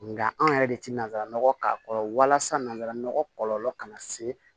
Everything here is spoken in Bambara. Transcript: Nga anw yɛrɛ de ti nanzara nɔgɔ k'a kɔrɔ walasa nanzara nɔgɔ kɔlɔlɔ kana se